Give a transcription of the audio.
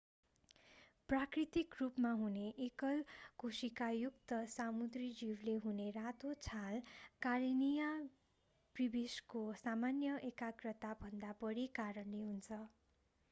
प्राकृतिक रूपमा हुने एकल कोशिकायुक्त समुद्री जीवले हुने रातो छाल कारेनिया ब्रिभिसको सामान्य एकाग्रताभन्दा बढीको कारणले हुन्छ